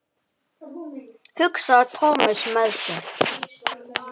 hugsaði Thomas með sér.